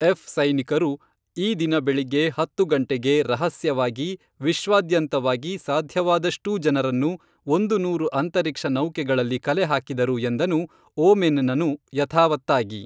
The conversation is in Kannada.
ಎಫ್‌ ಸೈನಿಕರು ಈ ದಿನ ಬೆಳಿಗ್ಗೆ ಹತ್ತು ಗಂಟೆಗೆ ರಹಸ್ಯವಾಗಿ ವಿಶ್ವಾದ್ಯಂತವಾಗಿ ಸಾಧ್ಯವಾದಷ್ಟೂ ಜನರನ್ನು ಒಂದು ನೂರು ಅಂತರಿಕ್ಷ ನೌಕೆಗಳಲ್ಲಿ ಕಲೆಹಾಕಿದರು ಎಂದನು ಓಮೆನ್‌ನನು ಯಥಾವತ್ತಾಗಿ